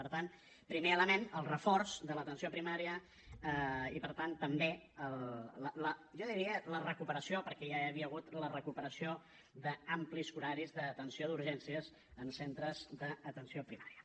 per tant primer element el reforç de l’atenció primària i per tant també jo diria la recuperació perquè ja n’hi havia hagut la recuperació d’amplis horaris d’atenció d’urgències en centres d’atenció primària